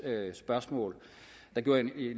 der bliver en